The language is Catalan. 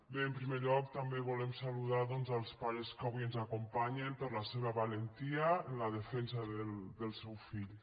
bé en primer lloc també volem saludar doncs els pares que avui ens acompanyen per la seva valentia en la defensa dels seus fills